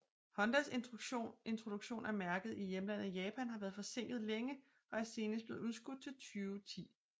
Hondas introduktion af mærket i hjemlandet Japan har været forsinket længe og er senest blevet udskudt til 2010